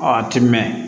Ɔ a ti mɛn